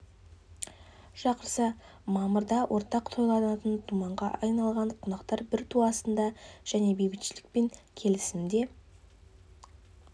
шақырса мамыр да ортақ тойланатын думанға айналған қонақтар бір ту астында және бейбітшілік пен келісімде